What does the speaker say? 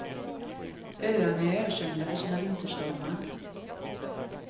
Öarna är ökända för sina vinterstormar.